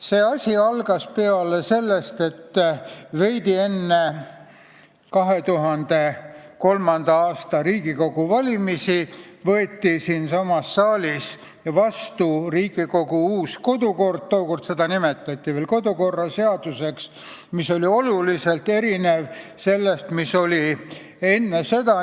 See asi algas peale sellest, et veidi enne 2003. aasta Riigikogu valimisi võeti siinsamas saalis vastu Riigikogu uus kodukord – tookord seda nimetati veel kodukorraseaduseks –, mis oluliselt erines sellest, mis oli enne seda.